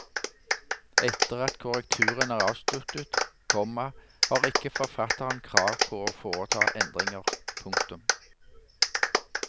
Etter at korrekturen er avsluttet, komma har ikke forfatteren krav på å foreta endringer. punktum